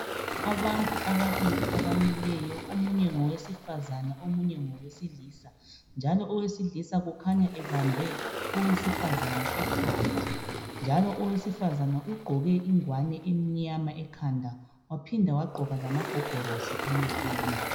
Abantu ababili abamileyo, omunye ngowesifazane omunye ngowesilisa njalooweailisa Kukhanya ebambe owesifazane ekhanda njalo owesifazane ugqoke ingowane emnyama ekhanda wapinda wagqoka lamagogorosi emehlweni.